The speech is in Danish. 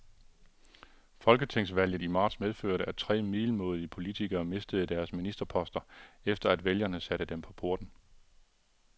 Folketingsvalget i marts medførte, at tre middelmådige politikere mistede deres ministerposter, efter at vælgerne satte dem på porten.